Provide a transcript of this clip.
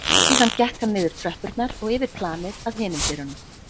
Síðan gekk hann niður tröppurnar og yfir planið að hinum dyrunum.